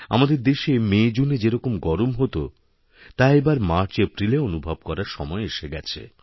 আমাদের দেশেমেজুনে যেরকম গরম হত তা এবার মার্চএপ্রিলে অনুভব করার সময় এসে গেছে